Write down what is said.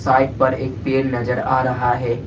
Bike पर एक पेड़ नजर आ रहा है।